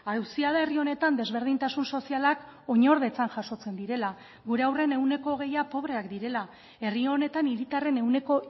auzia da herri honetan desberdintasun sozialak oinordetzan jasotzen direla gure haurren ehuneko hogeia pobreak direla herri honetan hiritarren ehuneko